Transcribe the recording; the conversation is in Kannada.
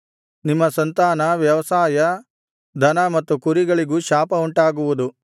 ನಿಮ್ಮ ಸಂತಾನ ವ್ಯವಸಾಯ ದನ ಮತ್ತು ಕುರಿಗಳಿಗೂ ಶಾಪ ಉಂಟಾಗುವುದು